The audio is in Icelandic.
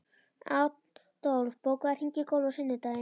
Adolf, bókaðu hring í golf á sunnudaginn.